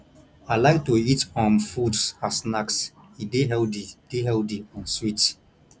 i like to eat um fruits as snacks e dey healthy dey healthy and sweet